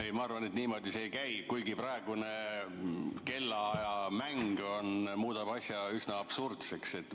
Ei, ma arvan, et niimoodi see ei käi, kuigi praegune kellaajamäng muudab asja üsna absurdseks.